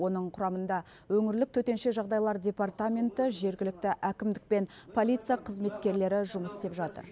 оның құрамында өңірлік төтенше жағдайлар департаменті жергілікті әкімдік пен полиция қызметкерлері жұмыс істеп жатыр